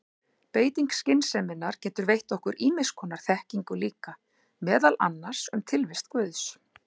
Beiting skynseminnar getur veitt okkur ýmiss konar þekkingu líka, meðal annars um tilvist guðs.